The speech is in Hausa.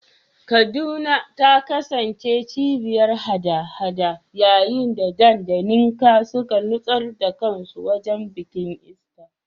Kaduna ta kasance cibiyar haɗa-haɗa yayin da Dan da Nneka suka nutsar da kansu wajen bikin Easter.